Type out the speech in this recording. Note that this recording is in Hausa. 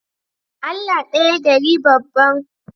Allah daya gari banban